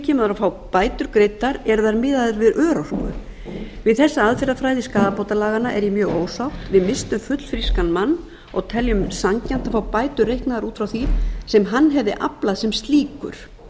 kemur að fá bæturnar greiddar eru þær miðaðar við örorku við þessa aðferðafræði skaðabótalaganna er ég mjög ósátt við misstum fullfrískan mann og teljum sanngjarnt að fá bætur reiknaðar út frá því sem hann aflaði sem slíkur